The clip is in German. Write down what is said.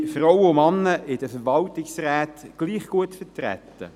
Sind Frauen und Männer in den Verwaltungsräten gleich gut vertreten?